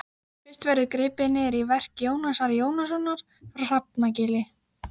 Fyrst verður gripið niður í verki Jónasar Jónassonar frá Hrafnagili.